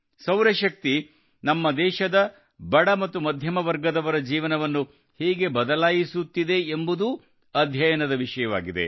ಸೌರಶಕ್ತಿಯು ನಮ್ಮ ದೇಶದ ಬಡ ಮತ್ತು ಮಧ್ಯಮ ವರ್ಗದವರ ಜೀವನವನ್ನು ಹೇಗೆ ಬದಲಾಯಿಸುತ್ತಿದೆ ಎಂಬುದೂ ಅಧ್ಯಯನದ ವಿಷಯವಾಗಿದೆ